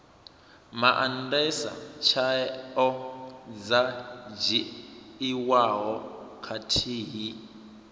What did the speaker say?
maandesa tsheo dzo dzhiiwaho khathihi